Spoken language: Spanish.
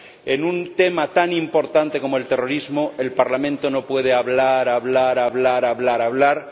En un tema tan importante como el terrorismo, el Parlamento no puede hablar, hablar, hablar...